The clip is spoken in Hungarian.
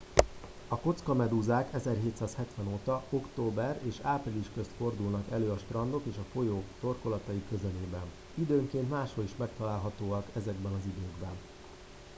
a kockamedúzák 1770 óta október és április közt fordulnak elő a strandok és a folyók torkolatai közelében időnként máshol is megtalálhatóak ezekben az időkben